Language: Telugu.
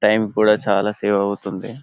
టైమ్ కూడా చాలా సేవ్ ఆవుతుంది